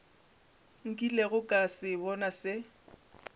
nkilego ka se bona se